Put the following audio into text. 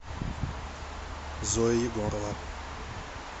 зоя егорова